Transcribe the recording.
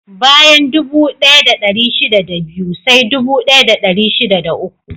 Bayan dubu ɗaya da ɗari shida da biyu, sai dubu ɗaya da dari shida da uku.